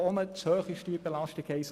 Dort ist die Steuerbelastung zu hoch.